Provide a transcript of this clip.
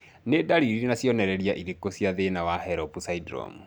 Nĩ ndariri na cionereria irĩkũ cia thĩna wa HELLP syndrome?